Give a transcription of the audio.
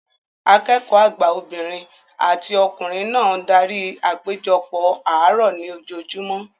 Akẹ́kọ̀ọ́ àgbà obìnrin àti ọkùnrin náà darí apejopo àárọ̀ ní ojoojúmọ́